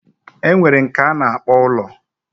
Enwere nke ana akpo ulo